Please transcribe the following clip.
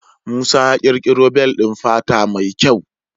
Musa ya ƙirƙoro bel ɗin fata mai kyau.